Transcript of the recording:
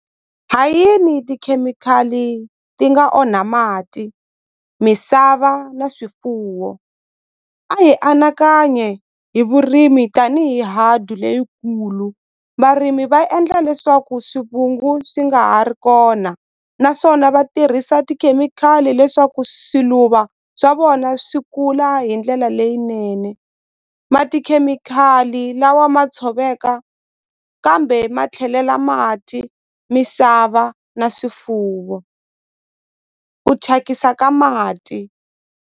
Ha yini tikhemikhali ti nga onha mati misava na swifuwo a hi anakanyi hi vurimi tanihi leyikulu varimi va endla leswaku swivungu swi nga ha ri kona naswona va tirhisa tikhemikhali leswaku swiluva swa vona swi kula hi ndlela leyinene ma tikhemikhali lawa ma tshoveka kambe ma tlhelela mati misava na swifuwo ku thyakisa ka mati.